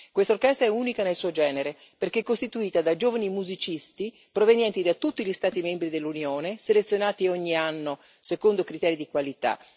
Questa orchestra è unica nel suo genere, perché è costituita da giovani musicisti provenienti da tutti gli Stati membri dell'Unione, selezionati ogni anno secondo criteri di qualità.